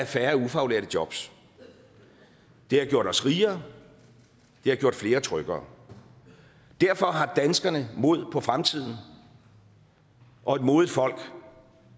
færre ufaglærte jobs det har gjort os rigere det har gjort flere tryggere derfor har danskerne mod på fremtiden og et modigt folk